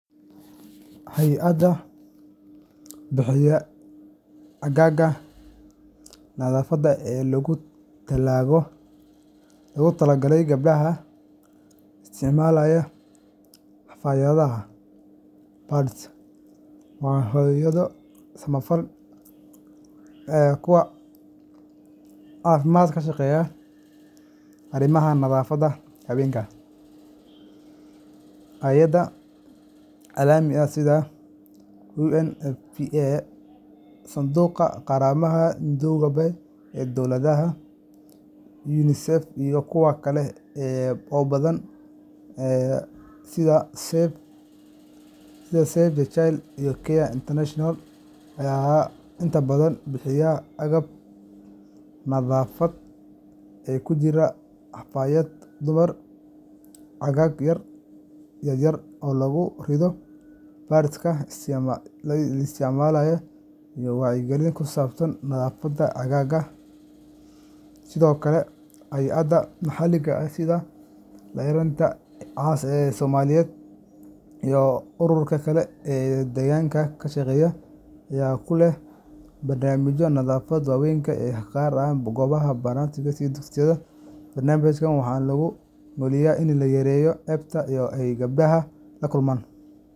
Hay’adaha bixiya caagaga nadaafadda ee loogu talagalay gabdhaha isticmaalaya xafaayadaha pads waa hay’ado samafal iyo kuwa caafimaad ee ka shaqeeya arrimaha nadaafadda haweenka. Hay’ado caalami ah sida UNFPA Sanduuqa Qaramada Midoobay ee Dadweynaha), UNICEF, iyo kuwa kale oo badan sida Save the Children and CARE International ayaa inta badan bixiya agab nadaafadeed oo ay ku jiraan xafaayadaha dumarka, caagag yar yar oo lagu riddo pads-ka la isticmaalay, iyo wacyigelin ku saabsan nadaafadda caadada. Sidoo kale, hay’ado maxalli ah sida Laanqayrta Cas ee Soomaaliyeed iyo ururo kale oo deegaanka ka shaqeeya ayaa ku lug leh barnaamijyada nadaafadda haweenka, gaar ahaan goobaha barakacayaasha iyo dugsiyada. Barnaamijyadaas waxaa looga gol leeyahay in la yareeyo ceebta iyo caqabadaha ay gabdhaha la kulmaan. .